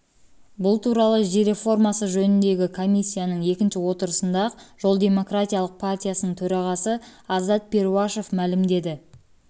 туралы жер реформасы жөніндегі комиссияның екінші отырысында ақ жол демократиялық партиясының төрағасы азат перуашев мәлімдеді